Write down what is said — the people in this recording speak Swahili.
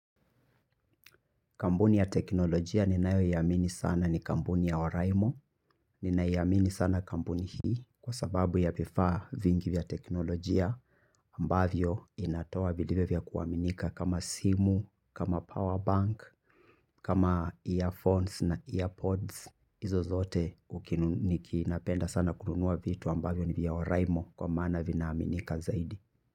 Kampuni ya teknolojia ninayoiamini sana ni kampuni ya oraimo. Ninaiamini sana kampuni hii kwa sababu ya vifaa vingi vya teknolojia ambavyo inatoa vilivyo vya kuaminika kama simu, kama powerbank, kama earphones na earpods. Hizo zote niki napenda sana kununua vitu ambavyo ni vya oraimo kwa maana vinaaminika zaidi.